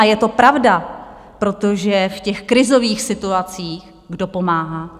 A je to pravda, protože v těch krizových situacích kdo pomáhá?